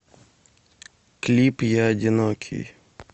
клип я одинокий